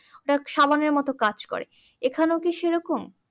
ওটা সাবানের মতো কাজ করে এখানেও কি সেরকম